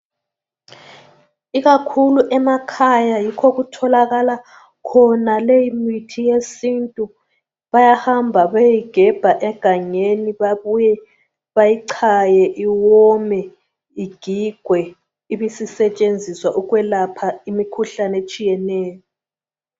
Ikakhulu emakhaya yikho okutholakala khona leyi mithi yesintu bayahamba beyegebha egangeni babuye bayichaye iwome igigwe ibisisetshenziswa ukwelapha imikhuhlane etshiyeneyo.